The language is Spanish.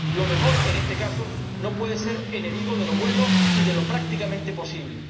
Lo mejor, en este caso, no puede ser enemigo de lo bueno y de lo prácticamente posible.